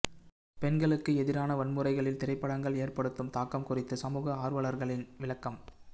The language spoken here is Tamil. பெண்களுக்கு எதிரான வன்முறைகளில் திரைப்படங்கள் ஏற்படுத்தும் தாக்கம் குறித்து சமூக ஆர்வலர்களின் விளக்கம்